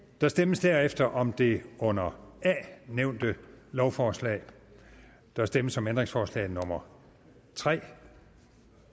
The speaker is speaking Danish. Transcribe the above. der stemmes derefter om det under a nævnte lovforslag der stemmes om ændringsforslag nummer tre